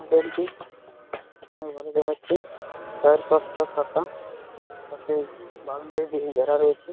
Model টি অনেক ভালো দেখাচ্ছে চারপাশ টা ফাঁকা পাশে বাউন্ডারি দিয়ে ঘেরা রয়েছে।